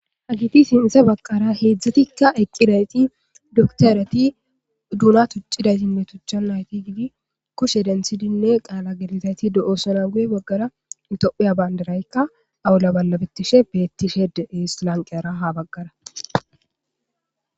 hagiti sinthe bagqara heedzdzatikka eqqirayti doktarati duuna tuccidaysinne tuchcha nayti gidi kushe denthidinne qaala gelizayti do7oosona guye baggara into7uya baynderaykka awula ballabettishe beettishedeeislanqeyara ha baggara